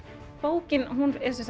bókin er